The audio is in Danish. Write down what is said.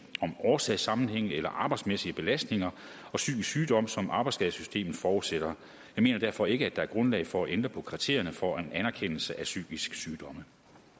om årsagssammenhænge eller arbejdsmæssige belastninger og psykisk sygdom som arbejdsskadesystemet fortsætter jeg mener derfor ikke at der er grundlag for at ændre på kriterierne for en anerkendelse af psykiske sygdomme